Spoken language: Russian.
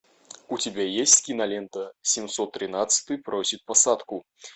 у тебя есть кинолента семьсот тринадцатый просит посадку